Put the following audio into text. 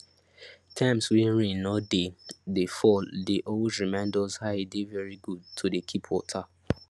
times wey rain no dey dey fall dey always remind us how e dey very good to dey keep water